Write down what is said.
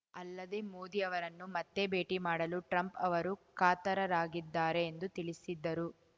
ಅಲ್ಲದೆ ಮೋದಿ ಅವರನ್ನು ಮತ್ತೆ ಭೇಟಿ ಮಾಡಲು ಟ್ರಂಪ್‌ ಅವರು ಕಾತರರಾಗಿದ್ದಾರೆ ಎಂದು ತಿಳಿಸಿದ್ದರು